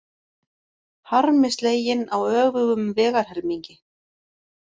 Harmi sleginn á öfugum vegarhelmingi